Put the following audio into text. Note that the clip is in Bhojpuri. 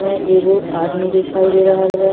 में एगो आदमी दिखाई दे रहल बा।